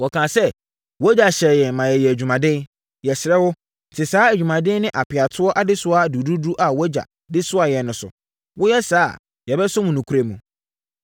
Wɔkaa sɛ, “Wʼagya hyɛɛ yɛn ma yɛyɛɛ adwumaden. Yɛsrɛ wo, te saa adwumaden ne apeatoɔ adesoa duruduru a wʼagya de soaa yɛn no so. Woyɛ saa a, yɛbɛsom wo nokorɛ mu.”